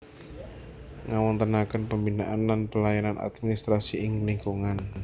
Ngawontenaken pembinaan lan pelayanan administrasi ing lingkungan